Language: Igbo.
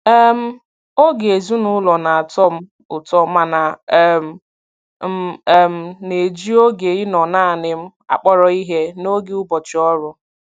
um Oge ezinụlọ na-atọ m ụtọ mana um m um na-eji oge ịnọ naanị m akpọrọ ihe n'oge ụbọchị ọrụ.